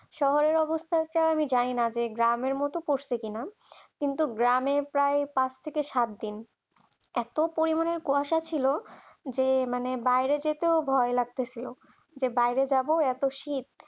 শহরের অবস্থা আমি জানি না যে গ্রামের মতো করছে কিনা কিন্তু গ্রামে প্রায় পাঁচ থেকে সাত দিন এত পরিমাণের কুয়াশা ছিল যে মানে বাইরে যেতেও ভয় লাগতেছে যে বাইরে যাব এত শীত